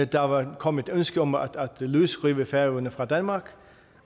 der var kommet ønske om at løsrive færøerne fra danmark